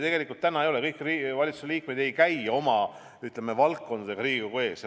Seda täna ei ole, kõik valitsuse liikmed ei käi ülevaadetega oma valdkonnast Riigikogu ees.